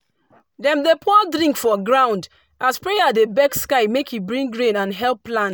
dem dey pour drink for ground as prayer dey beg sky make e bring rain and help plants